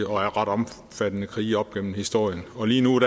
ret omfattende krige op gennem historien og lige nu